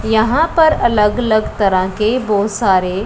यहां पर अलग अलग तरह के बहोत सारे--